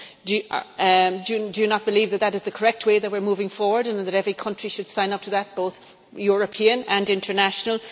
Do you not believe that is the correct way that we are moving forward and that every country should sign up to that, both European and international?